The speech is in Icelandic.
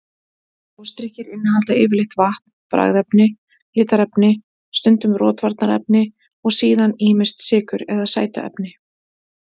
Gosdrykkir innihalda yfirleitt vatn, bragðefni, litarefni, stundum rotvarnarefni og síðan ýmist sykur eða sætuefni.